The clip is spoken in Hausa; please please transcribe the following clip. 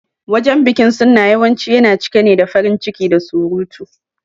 Wajen bikin Sunna yawanci yana cika ne da farin ciki da surutu.